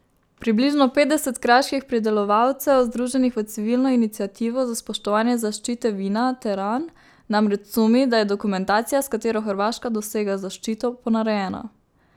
Približno petdeset kraških pridelovalcev, združenih v Civilno iniciativo za spoštovanje zaščite vina teran, namreč sumi, da je dokumentacija, s katero Hrvaška dosega zaščito, ponarejena.